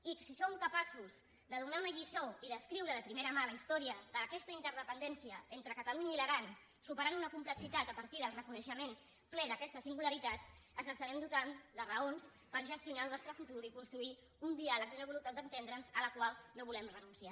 i si som capaços de donar una lliçó i d’escriure de primera mà la història d’aquesta interdependència entre catalunya i l’aran superant una complexitat a partir del reconeixement ple d’aquesta singularitat ens estarem dotant de raons per gestionar el nostre futur i construir un diàleg i una voluntat d’entendre’ns a la qual no volem renunciar